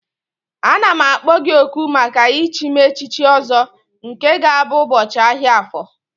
Ana m akpọ gị oku maka ichi m echiche Ọzọ nke ga-abụ ụbọchị ahịa Afọ